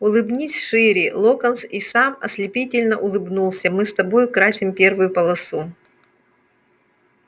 улыбнись шире локонс и сам ослепительно улыбнулся мы с тобой украсим первую полосу